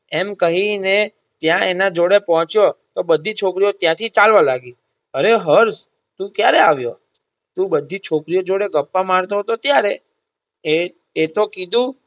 એમ કહી ને ત્યાં એના જોડે પહોંચ્યો તો બધી છોકરીઓ ત્યાંથી ચાલવા લાગી. અરે હર્ષ તું ક્યારે આવ્યો તું બધી છોકરીઓ જોડે ગપ્પા મારતો હતો ત્યારે એ એ તો કીધું